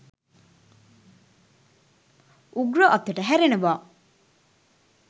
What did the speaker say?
උග්‍ර අතට හැරෙනවා